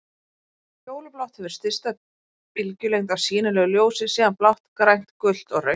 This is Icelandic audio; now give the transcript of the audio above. Fjólublátt hefur stysta bylgjulengd af sýnilegu ljósi, síðan blátt, grænt, gult og rautt.